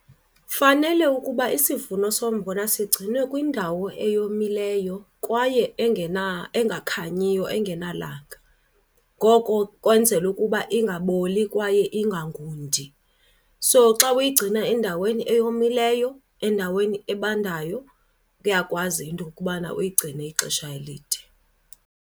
Fanele ukuba isivuno sombona sigcinwe kwindawo eyomileyo kwaye engakhanyiyo, engenalanga. Ngoko kwenzelwa ukuba ingaboli kwaye ingangundi. So xa uyigcina endaweni eyomileyo, endaweni ebandayo, uyakwazi into yokubana uyigcine ixesha elide.